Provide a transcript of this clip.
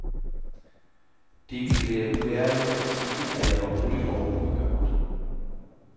Det ville være uærligt at sige, at jeg var rolig og ubekymret.